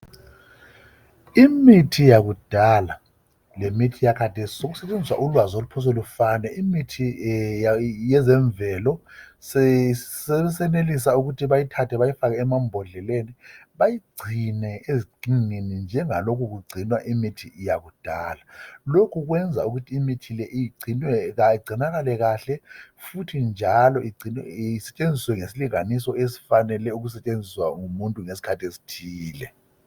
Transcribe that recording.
Imithi yakudala lemithi yakhathesi sokusetshenziswa ulwazi oluphosa lufane imithi yezemvelo sesenelisa ukuthi bayithathe bayifake emambodleni bayigcine ezixhingini njengalokhu kugcinwa imithi yakudala lokhu kwenza ukuthi imithi le igcinakale kahle futhi njalo isetshenziswe ngesilinganiso esifanele ukusentshenziswa ngumuntu ngesikhathi esithile.